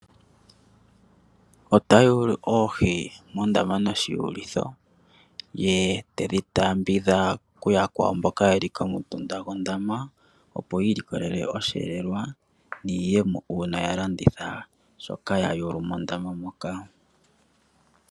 Ota yulu oohi mondama noshiyulitho ye tedhi taaambidha kuyakwawo mboka ye li komutunda gondama, opo yi ilikolele osheelelwa niiyemo uuna ya landitha shoka ya yulu mondama moka.